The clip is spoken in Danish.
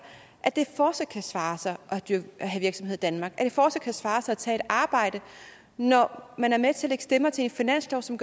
at det fortsat kan svare sig at have virksomhed i danmark eller fortsat kan svare sig at tage et arbejde når man er med til lægge stemmer til en finanslov som